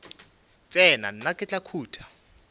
tsena nna ke tla khuta